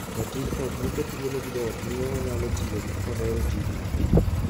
Jatij ot moket thuolo gi joot miyo onyalo tiyo kohero tijno.